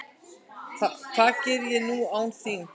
Hvað geri ég nú án þín?